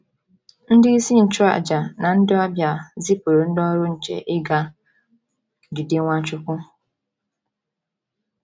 Ndị isi nchụàjà na ndị ọbịa zipụrụ ndị ọrụ nche ịga jide Nwachukwu.